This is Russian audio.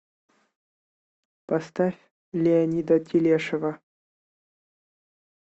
поставь леонида телешева